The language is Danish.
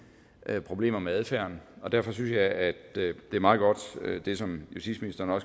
problemer med adfærden og derfor synes jeg at det er meget godt det som justitsministeren